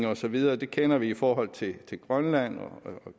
og så videre kender vi i forhold til grønland og